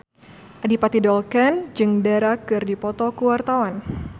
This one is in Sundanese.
Adipati Dolken jeung Dara keur dipoto ku wartawan